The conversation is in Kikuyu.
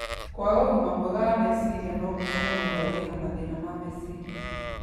Kwaga ugima mwega wa meciria no gũtũme mũndũ agĩe na mathĩna ma meciria